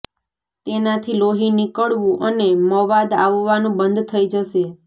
તેનાથી લોહી નિકળવુ અને મવાદ આવવાનુ બંધ થઈ જશે